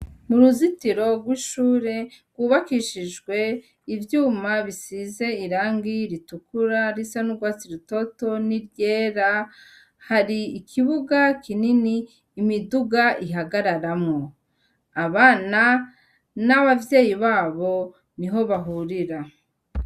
Mu ruzitiro rw' ishure rwubakishijwe ivyuma bisize irangi ritukura, risa n' urwatsi rutoto n' iryera, hari ikibuga kinini imiduga ihagararamwo. Abana n' abavyeyi babo niho bahurira.